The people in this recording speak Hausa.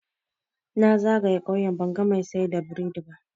Na zagaye ƙauye banga mai siyar da burodi ba.